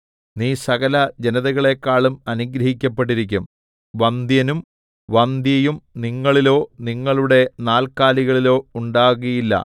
നീ സകല ജനതകളെക്കാളും അനുഗ്രഹിക്കപ്പെട്ടിരിക്കും വന്ധ്യനും വന്ധ്യയും നിങ്ങളിലോ നിങ്ങളുടെ നാൽക്കാലികളിലോ ഉണ്ടാകുകയില്ല